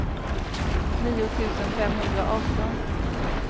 nio tusen femhundraarton